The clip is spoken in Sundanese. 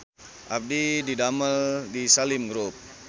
Abdi didamel di Salim Group